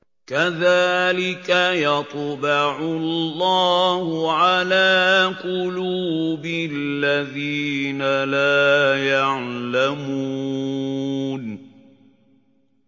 كَذَٰلِكَ يَطْبَعُ اللَّهُ عَلَىٰ قُلُوبِ الَّذِينَ لَا يَعْلَمُونَ